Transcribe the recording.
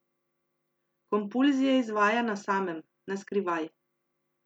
Kompulzije izvaja na samem, na skrivaj.